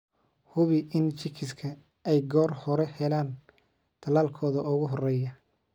Hubi in chicks ay goor hore helaan tallaalkooda ugu horreeya.